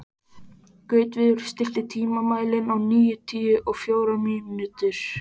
Gautviður, stilltu tímamælinn á níutíu og fjórar mínútur.